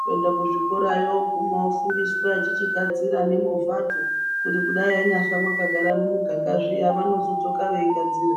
kuende kuzvikorayo vooguma veifundiswa veichichigadzira nemovhadzo kuti yanyafa makagara mumuganga zviya vanodzoka veigadzira.